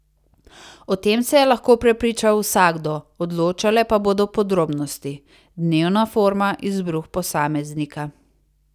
O tem se je lahko prepričal vsakdo, odločale pa bodo podrobnosti, dnevna forma, izbruh posameznika ...